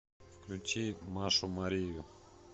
включи машу марию